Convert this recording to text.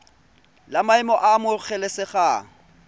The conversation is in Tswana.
la maemo a a amogelesegang